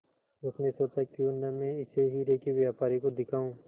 उसने सोचा क्यों न मैं इसे हीरे के व्यापारी को दिखाऊं